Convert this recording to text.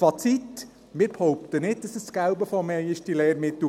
Fazit: Wir behaupten nicht, dass diese Lehrmittel das Gelbe vom Ei sind.